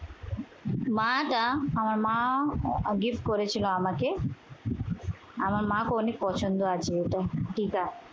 মাটা আমার মা gift করেছিল আমাকে। আমার মাকেও অনেক পছন্দ আছে এইটা। টিকা